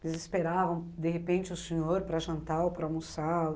Eles esperavam, de repente, o senhor para jantar ou para almoçar?